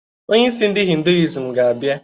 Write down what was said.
Onyeisi ndi hinduism ga-abịa